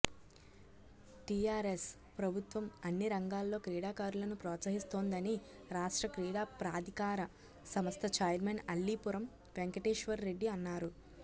TRS ప్రభుత్వం అన్ని రంగాల్లో క్రీడాకారులను ప్రోత్సహిస్తోందని రాష్ట్ర క్రీడా ప్రాధికార సంస్థ చైర్మెన్ అల్లీపురం వెంకటేశ్వర్రెడ్డి అన్నారు